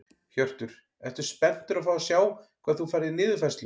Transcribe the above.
Hjörtur: Ertu spenntur að fá að sjá hvað þú færð í niðurfærslu?